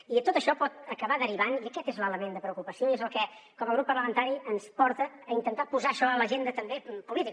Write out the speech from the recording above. i tot això pot acabar derivant i aquest és l’element de preocupació i és el que com a grup parlamentari ens porta a intentar posar això a l’agenda també política